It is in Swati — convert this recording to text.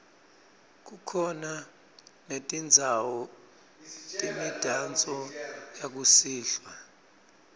kukhona netindzawo temidanso yakusihlwa